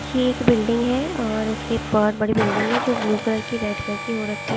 ये एक बिल्डिंग है और उसके पर बहत बड़े बिल्डिंग है जो ब्लू कलर की रेड कलर की हो रखी है --